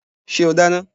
Ṣé o dáná?